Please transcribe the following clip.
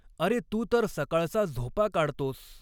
अरे तू तर सकाळचा झॊपा काढतॊस!